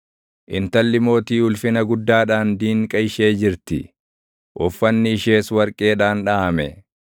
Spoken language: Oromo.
Intalli mootii ulfina guddaadhaan diinqa ishee jirti; uffanni ishees warqeedhaan dhaʼame.